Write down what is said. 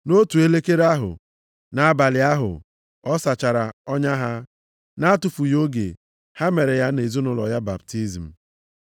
Nʼotu elekere ahụ, nʼabalị ahụ, ọ sachara ọnya ha. Nʼatụfughị oge, ha mere ya na ezinaụlọ ya baptizim.